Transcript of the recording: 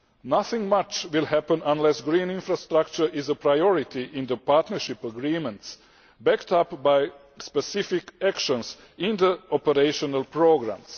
Nothing much will happen unless green infrastructure is a priority in the partnership agreements, backed up by specific actions in the operational programmes.